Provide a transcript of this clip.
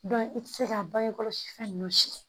i tɛ se ka bange kɔlɔsi fɛn ninnu si